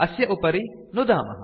अस्य उपरि नुदामः